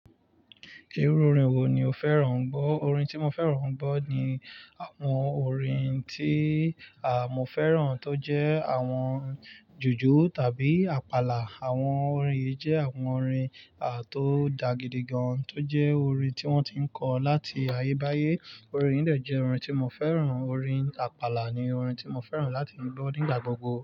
Irú orin wo ni o fẹ́ràn gbọ́? Orin tí mo fẹ́ràn gbọ́ ni àwọn orin tí àmọ́ fẹ́ràn, tó jẹ́ àwọn jùjú tàbí àpàlà. Àwọn orin yìí jẹ́ àwọn orin tó dáa gidigan tó jẹ́ orin tí wọ́n ti ń kọ láti ayé bayé. Orin yìí dẹ̀ jẹ́ orin tí mo fẹ́ràn, orin àpàlà ni orin tí mo fẹ́ràn láti gbọ́ nígbà gbogbo.